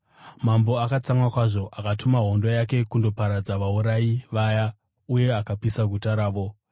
Mambo akatsamwa kwazvo. Akatuma hondo yake kundoparadza vaurayi vaya uye akapisa guta ravo.